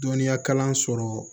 Dɔnniya kalan sɔrɔ